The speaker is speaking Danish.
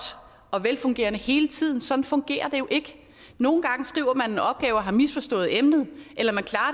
og velfungerende hele tiden sådan fungerer det jo ikke nogle gange skriver man en opgave og har misforstået emnet eller man klarer